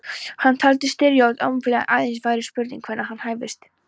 Hann taldi styrjöld óumflýjanlega, aðeins væri spurning hvenær hún hæfist.